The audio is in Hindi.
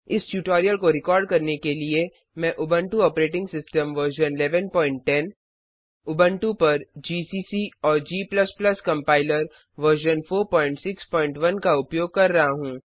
इस ट्यूटोरियल को रिकॉर्ड करने के लिए मैं Ubuntu operating system version 1110 Ubuntu पर जीसीसी और g कंपाइलर वर्जन 461 का उपयोग कर रहा हूँ